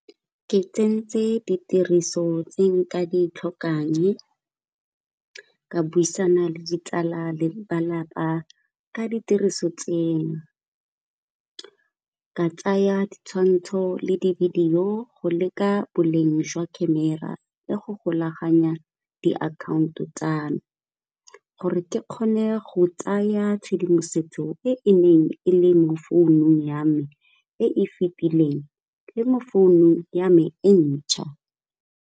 Ke tsentse ditiriso tse nka di tlhokang ka buisana le ditsala le lelapa ka ditiriso tseno, go tsaya ditshwantsho le di-video go leka boleng jwa camera le go golaganya diakhaonto tsame, gore ke kgone go tsaya tshedimosetso e e neng e le mo founung ya me e fetileng le founu ya me entšha.